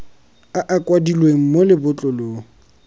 a a kwadilweng mo lebotlolong